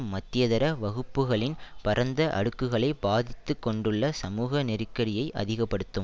மத்தியதர வகுப்புக்களின் பரந்த அடுக்குகளை பாதித்துக் கொண்டுள்ள சமூக நெருக்கடியை அதிக படுத்தும்